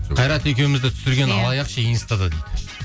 қайрат екеуімізді түсірген алаяқ ше инстада дейді